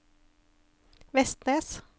Vestnes